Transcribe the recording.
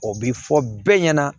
O bi fɔ bɛɛ ɲɛna